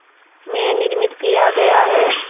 में निर्मित किया गया है